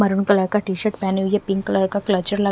maroon colour का T-shirt पहनी हुई है पिंक कलर का क्लचर लगा--